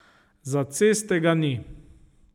Za ceste ga ni.